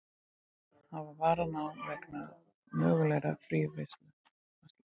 Hafa varann á vegna mögulegrar fríverslunar